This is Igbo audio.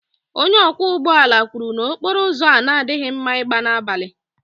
onye ọkwọ ụgbọ ala kwuru na okporo ụzọ a na-adịghị mma ịgba n'abalị